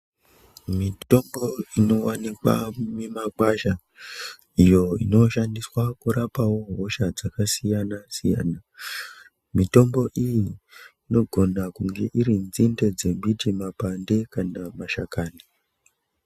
Mitombo inowanikwa mumikwasha iyo inoshandiswa kurapao hosha dzakasiyanasiyana mitombo iyi inogona kunge iri nzinde dzembiti makwande kana mashakani.